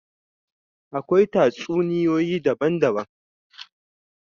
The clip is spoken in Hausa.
Akwai tatsuniyoyi daban daban